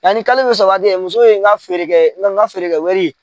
Yanni kalo bɛ sa waati cɛ, muso ye n ka n ka feere kɛ wari.